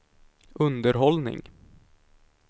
underhållning